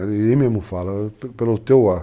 Ele mesmo fala, pelo teu ar.